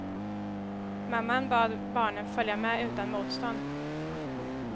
Mamman bad barnen följa med utan motstånd.